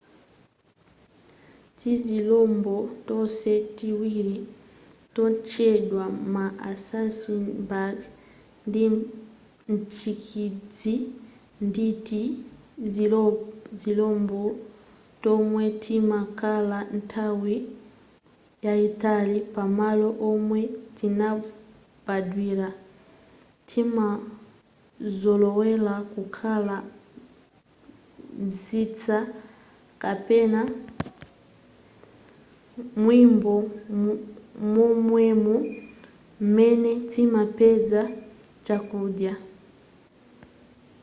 tizilombo tonse tiwiri totchedwa ma assassin-bug ndi mtsikidzi nditi zilombo tomwe timakhala nthawi yayitali pamalo omwe tinabadwira timazolowela kukhala mzitsa kapena mnyumba momwemo m'mene timapeza chakudya